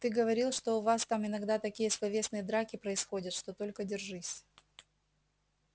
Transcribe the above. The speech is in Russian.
ты говорил что у вас там иногда такие словесные драки происходят что только держись